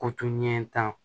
Ko to ɲɛ tan